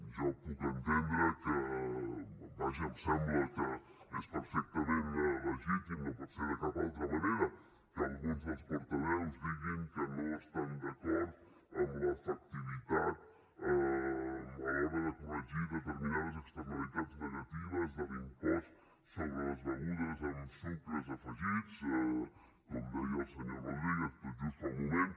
jo puc entendre que vaja em sembla que és perfectament legítim no pot ser de cap altra manera alguns dels portaveus diguin que no estan d’acord en l’efectivitat a l’hora de corregir determinades externalitats negatives de l’impost sobre les begudes amb sucres afegits com deia el senyor rodríguez tot just fa un moment